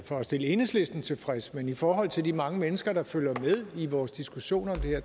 for at stille enhedslisten tilfreds men i forhold til de mange mennesker der følger med i vores diskussioner